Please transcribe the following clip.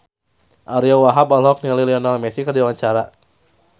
Ariyo Wahab olohok ningali Lionel Messi keur diwawancara